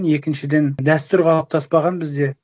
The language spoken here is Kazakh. екіншіден дәстүр қалыптаспаған бізде